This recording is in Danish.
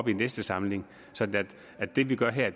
i næste samling så det vi gør her